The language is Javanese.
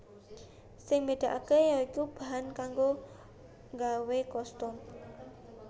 Sing mbedakake ya iku bahan kanggo nggawe kostum